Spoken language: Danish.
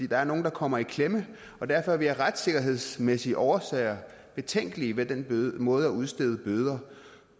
der er nogle der kommer i klemme og derfor er vi af retssikkerhedsmæssige årsager betænkelige ved den måde at udstede bøder